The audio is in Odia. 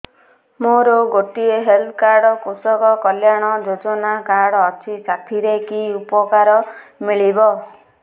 ମୋର ଗୋଟିଏ ହେଲ୍ଥ କାର୍ଡ କୃଷକ କଲ୍ୟାଣ ଯୋଜନା କାର୍ଡ ଅଛି ସାଥିରେ କି ଉପକାର ମିଳିବ